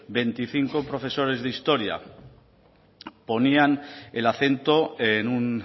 veinticinco profesores de historia ponían el acento en un